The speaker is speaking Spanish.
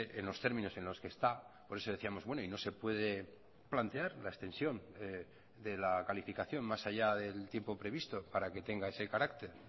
en los términos en los que está por eso decíamos bueno y no se puede plantear la extensión de la calificación más allá del tiempo previsto para que tenga ese carácter